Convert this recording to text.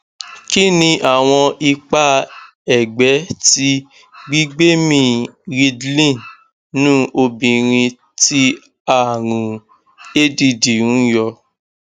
kí ni awon ipa egbe ti gbigbemi ridlin nnu obìnrin tí àrùn add ń yọ